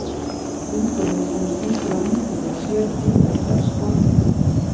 Hringurinn sem er sýndur á myndinni er sértilfelli af sporbaug.